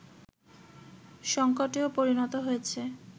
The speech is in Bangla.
সংকটেও পরিণত হয়েছে